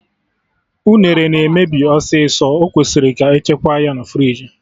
Unere na-emebi ọsịsọ, ọ kwesịrị ka echekwa ya na friji